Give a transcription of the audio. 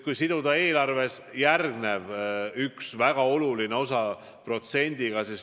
Kas siduda eelarves veel üks väga oluline osa mingi protsendiga?